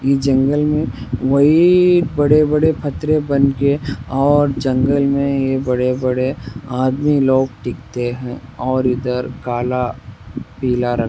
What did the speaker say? इस जंगल मे वही बड़े-बड़े पथरे बन के और जंगल में ये बड़े-बड़े आदमी लोग टिकते है और इधर काला पीला रंग --